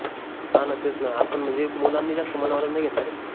हान तेच न आपन म्हनजे मुलांनी जास्त मनावरचं नाई घेतलं रे